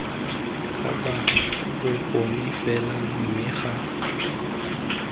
kapa bokone fela mme ga